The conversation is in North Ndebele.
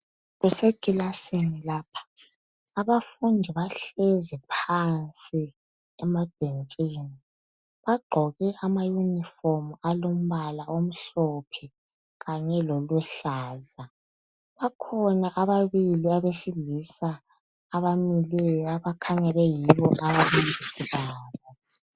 kusekilasini lapha abafundi bahleli phansi emabhentshini abafundi bagqoke ama uniform alombala omhlophe kanye loluhlaza bakhona ababili abesilisa abamileyo abakhanya beyibo ababalisi babo